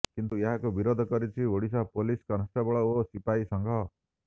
କିନ୍ତୁ ଏହାକୁ ବିରୋଧ କରିଛି ଓଡିଶା ପୋଲିସ କନଷ୍ଟେବଳ ଓ ସିପାଇ ସଂଘ